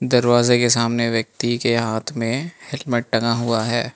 दरवाजे के सामने व्यक्ति के हाथ में हेलमेट टंगा हुआ है।